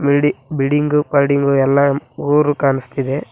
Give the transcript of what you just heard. ಬಿಡಿ building folding ಎಲ್ಲಾ ಊರು ಕಾಣಿಸ್ತಿದೆ.